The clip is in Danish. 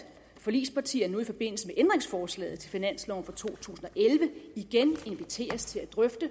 forligspartierne nu i forbindelse med ændringsforslaget til finansloven for to tusind og elleve igen inviteres til at drøfte